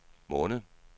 måned